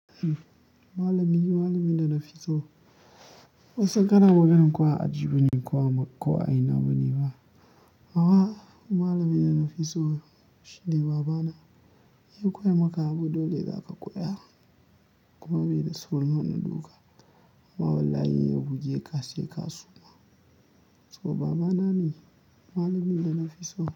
Malami, malamin da na fi so. Ban san kana maganan ko a aji bane ko a ina bane ba. Baba, malamin da na fi so shine babana. Ya koya maka abu dole zaka koya, kuma bai da saurin wani duka. Amma wallahi in ya buge ka kaa. To babana ne malamin da na fi so.